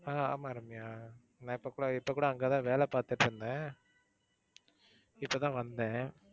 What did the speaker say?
ஆஹ் ஆமா ரம்யா. நான் இப்ப கூட இப்ப கூட அங்க தான் வேலை பாத்துட்டு இருந்தேன் இப்போ தான் வந்தேன்.